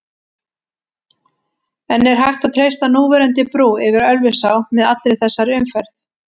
En er hægt að treysta núverandi brú yfir Ölfusá með allri þessari umferð?